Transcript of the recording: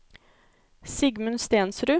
Sigmund Stensrud